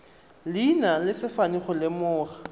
leina le sefane go lemoga